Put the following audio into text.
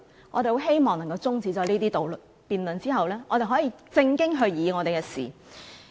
我們很希望中止了這些辯論後，可以正經議事。